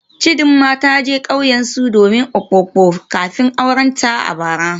Chidima ta je kauyensu domin Mpopo kafin aurenta a bara.